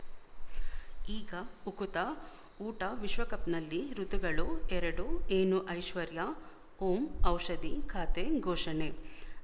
ಈಗ ಉಕುತ ಊಟ ವಿಶ್ವಕಪ್‌ನಲ್ಲಿ ಋತುಗಳು ಎರಡು ಏನು ಐಶ್ವರ್ಯಾ ಓಂ ಔಷಧಿ ಖಾತೆ ಘೋಷಣೆ